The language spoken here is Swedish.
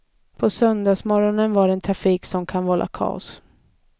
På söndagsmorgonen är det trafiken som kan vålla kaos.